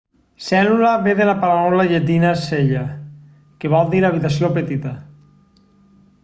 cèl·lula ve de la paraula llatina cella que vol dir habitació petita